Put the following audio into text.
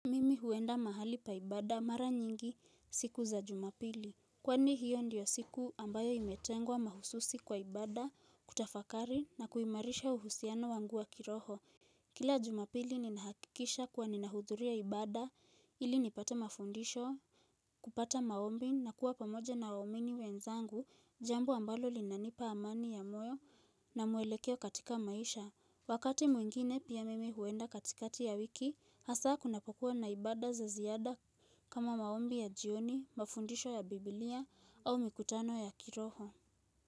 Meme huenda mahali pa ibada mara nyingi siku za jumapili. Kwani hiyo ndiyo siku ambayo imetengwa mahususi kwa ibada, kutafakari na kuimarisha uhusiano wangu wa kiroho. Kila jumapili ninahakikisha kuwa ninahudhuria ibada ili nipate mafundisho, kupata maombi na kuwa pamoja na waumini wenzangu jambo ambalo linanipa amani ya moyo na mwelekeo katika maisha. Wakati mwingine pia mimi huenda katikati ya wiki, hasa kunapokuwa na ibada za ziada kama maombi ya jioni, mafundisho ya biblia au mikutano ya kiroho.